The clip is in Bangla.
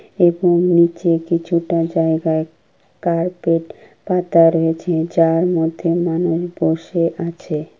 এবং নিচে কিছুটা জায়গায় কার্পেট পাতা রয়েছে যার মধ্যে মানুষ বসে আছে।